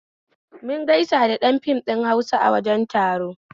Mun gaisa da ɗan fim ɗin Hausa a wajen taro